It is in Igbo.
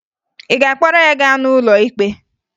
Ị ga-akpọrọ ya gaa n'ụlọ ikpe?